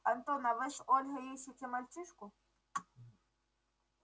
антон а вы с ольгой ищите мальчишку